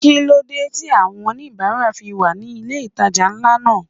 Kíló dé tí àwọn oníbárà fi wà ní ilé ìtajà ńlá náà?